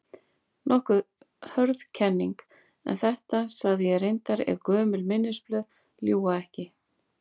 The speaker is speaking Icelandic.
Nokkuð hörð kenning, en þetta sagði ég reyndar- ef gömul minnisblöð ljúga ekki.